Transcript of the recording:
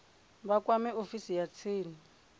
vha kwame ofisi ya tsini